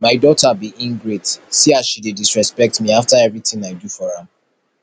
my daughter be ingrate see as she dey disrespect me after everything i do for am